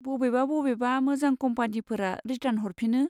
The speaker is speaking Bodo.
बबेबा बबेबा मोजां कम्पानिफोरा रिटार्न हरफिनो।